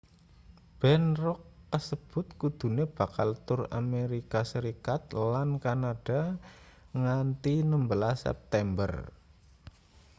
band rock kasebut kudune bakal tur amerika serikat lan kanada nganthi 16 september